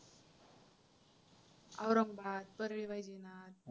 Aurangabad, परळीवैजनाथ